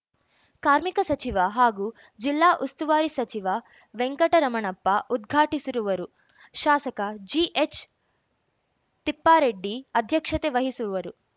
ಕಾರ್ಮಿಕ ಸಚಿವ ಹಾಗೂ ಜಿಲ್ಲಾ ಉಸ್ತುವಾರಿ ಸಚಿವ ವೆಂಕಟರಮಣಪ್ಪ ಉದ್ಘಾಟಿಸಿರುವರು ಶಾಸಕ ಜಿಎಚ್‌ತಿಪ್ಪಾರೆಡ್ಡಿ ಅಧ್ಯಕ್ಷತೆ ವಹಿಸುವರು